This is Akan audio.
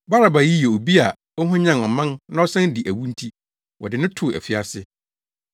Baraba yi yɛ obi a ɔhwanyan ɔman na ɔsan dii awu nti, wɔde no too afiase.